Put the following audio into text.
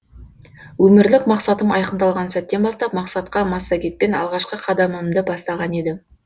өмірлік мақсатым айқындалған сәттен бастап мақсатқа массагетпен алғашқы қадамымды бастаған едім